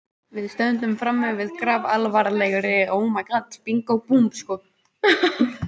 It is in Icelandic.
Við stöndum frammi fyrir grafalvarlegri stöðu